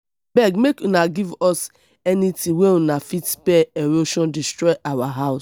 abeg make una give us anything wey una fit spare erosion destroy our house